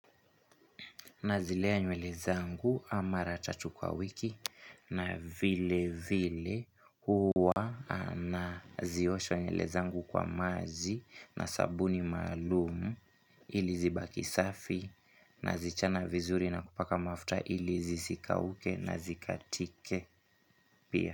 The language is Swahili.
Na zilea nywele zangu mara tatu kwa wiki na vile vile huwa na ziosha nywele zangu kwa maji na sabuni maalumu ili zibaki safi nazichana vizuri na kupaka mafuta ili zisikauke na zikatike pia.